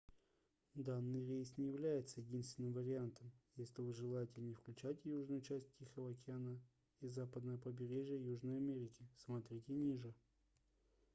данный рейс не является единственным вариантом если вы желаете не включать южную часть тихого океана и западное побережье южной америки. см. ниже